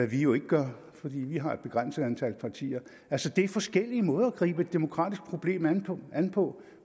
jo ikke gør for vi vi har et begrænset antal partier altså det er forskellige måder at gribe et demokratisk problem an på an på